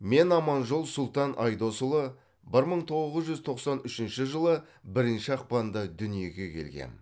мен аманжол сұлтан айдосұлы бір мың тоғыз жүз тоқсан үшінші жылы бірінші ақпанда дүниеге келгем